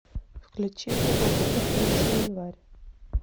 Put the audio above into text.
включи хубба бубба третий январь